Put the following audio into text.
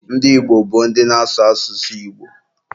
Ndị Igbo bụ ndị na-ásụ̀ asụsụ Igbo.